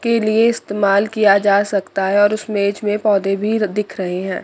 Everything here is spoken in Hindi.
के लिए इस्तेमाल किया जा सकता है और उस मेज में पौधे भी दिख रहे हैं।